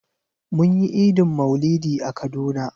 Mun yi Idin maulidi a kaduna.